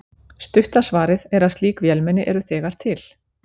Stutta svarið er að slík vélmenni eru þegar til.